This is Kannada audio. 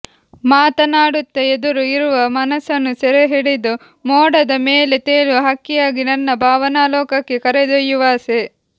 ಮಾತನಾಡುತ್ತ ಎದರು ಇರುವ ಮನಸ್ಸನ್ನು ಸೆರೆಹಿಡಿದು ಮೋಡದ ಮೇಲೆ ತೇಲುವ ಹಕ್ಕಿಯಾಗಿ ನನ್ನ ಭಾವನಾಲೊಕಕ್ಕೆ ಕರೆದೊಯ್ಯಿಯುವಾಸೆ